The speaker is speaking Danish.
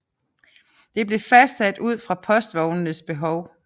Det blev fastsat ud fra postvognenes behov